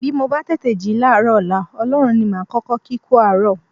Bí mo bá tètè jí láàárọ̀ ọ̀la, Ọlọ́run ní màá kọ́kọ́ kí kú àárọ̀